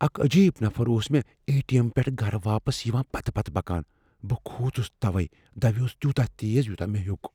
اکھ عجیب نفر اوس مے اے ٹی ایم پیٹھٕ گرٕ واپس یوان پتہ پتہ پکان ۔ بہٕ كھوژُس توَے دوِیوس تیوتاہ تیز یوٗتاہ مے٘ ہیو٘ک ۔